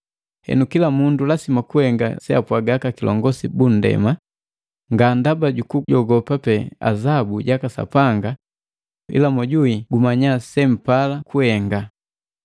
Henu kila mundu lasima kuhenga seapwaga aka kilongosi bandema, nga ndaba jukujogopa pee azabu jaka Sapanga, ila mojuwi gumanyaa sempala kuhenga.